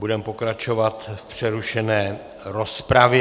Budeme pokračovat v přerušené rozpravě.